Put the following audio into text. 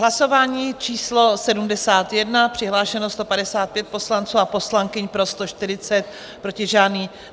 Hlasování číslo 71, přihlášeno 155 poslanců a poslankyň, pro 140, proti žádný.